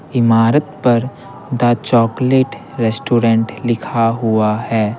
इमारत पर the chocolate restaurant लिखा हुआ है।